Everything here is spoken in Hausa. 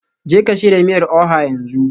Jeka shirya miyar Oha yanzu